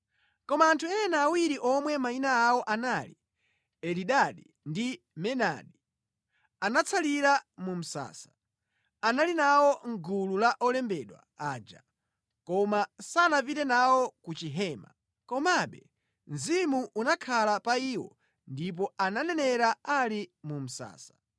Koma anthu ena awiri omwe mayina awo anali Elidadi ndi Medadi, anatsalira mu msasa. Anali nawo mʼgulu la olembedwa aja, koma sanapite nawo ku Chihema. Komabe mzimu unakhala pa iwo ndipo ananenera ali mu msasa.